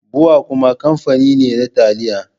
Bua kuma kamfani ne na taliya.